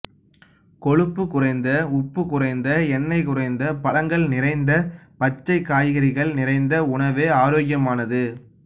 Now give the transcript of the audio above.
கொழுப்பு குறைந்த உப்பு குறைந்த எண்ணெய் குறைந்த பழங்கள் நிறைந்த பச்சை காய்கறிகள் நிறைந்த உணவே ஆரோக்கியமானது